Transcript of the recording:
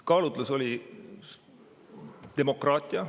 Kaalutlus oli demokraatia.